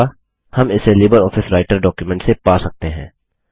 हम इसे LibreOffice writer document से पा सकते हैं